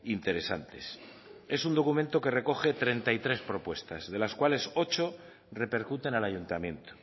interesantes es un documento que recoge treinta y tres propuestas de las cuales ocho repercuten al ayuntamiento